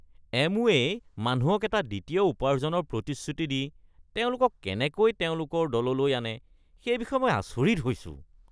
এমৱে'ই মানুহক এটা দ্বিতীয় উপাৰ্জনৰ প্ৰতিশ্ৰুতি দি তেওঁলোকক কেনেকৈ তেওঁলোকৰ দললৈ আনে, সেই বিষয়ে মই আচৰিত হৈছো।